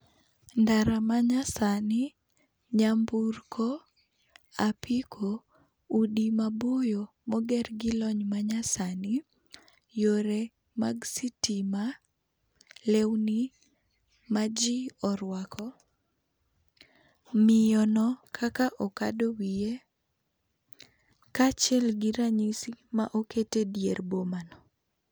Ndara manyasani, nyamburko, apiko, udi maboyo moger gilony manyasani, yore mag sitima, lewni maji orwako, miyono kaka okado wiye kaachiel gi ranyisi ma oket edier boma no.